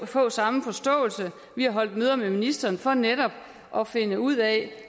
få samme forståelse vi har holdt møder med ministeren for netop at finde ud af